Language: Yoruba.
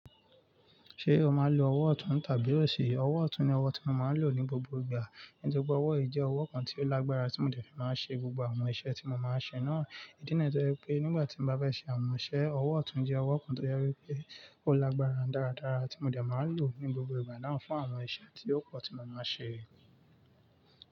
Ṣé o máa ń lo ọwọ́ ọ̀tún tàbí òsì? Ọwọ́ ọ̀tún ni ọwọ́ tí mo máa ń lò ní gbogbo ìgbà, nítorí pé ọwọ́ yí jẹ́ ọwọ́ kan tí ó lágbára tí mo dẹ̀ fi máa ń ṣe gbogbo àwọn iṣẹ́ tí mo máa ń ṣe náà. Ídínà to jẹ́ pé nígbà tí mo bá fẹ́ ṣe àwọn iṣẹ́, ọwọ́ ọ̀tún jẹ́ ọwọ́ kan tó jẹ wípé ó lágbára dáradára tí mo dẹ̀ máa ń lò ní gbogbo ìgbà náà fún àwọn iṣẹ́ tí ó pọ̀ tí mo máa ń ṣe.